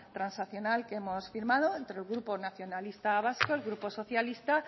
transaccional que hemos firmado entre el grupo nacionalista vasco el grupo socialista